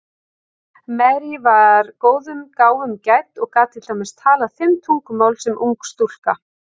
Marie var góðum gáfum gædd og gat til dæmis talað fimm tungumál sem ung stúlka.